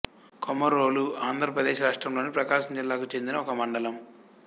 కొమరోలు ఆంధ్ర ప్రదేశ్ రాష్ట్రములోని ప్రకాశం జిల్లాకు చెందిన ఒక మండలం